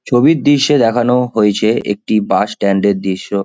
ছবির দৃশ্যে দেখানো হয়েছে একটি বাস স্ট্যান্ড -এর দৃশ্য।